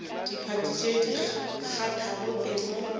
diphathi tše di kgathago tema